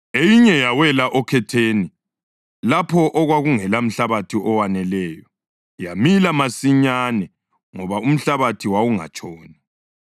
Eyinye yawela okhetheni lapho okwakungela mhlabathi owaneleyo. Yamila masinyane ngoba umhlabathi wawungatshoni.